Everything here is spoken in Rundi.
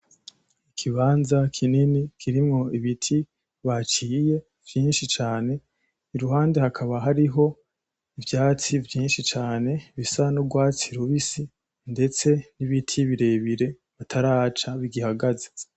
Ikibanza kinini kirimwo ibiti baciye vyinshi cane, iruhande hakaba hariho ivyatsi vyinshi cane bisa n'urwatsi rubisi ndetse n'ibiti birebire bataraca bigihahagaze.